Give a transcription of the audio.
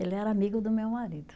Ele era amigo do meu marido.